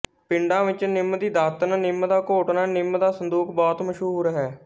ਪਿੰਡਾਂ ਵਿੱਚ ਨਿੰਮ੍ਹ ਦੀ ਦਾਤਣ ਨਿੰਮ੍ਹ ਦਾ ਘੋਟਣਾ ਨਿੰਮ੍ਹ ਦਾ ਸੰਦੂਖ ਬਹੁਤ ਮਸ਼ਹੂਰ ਹੈ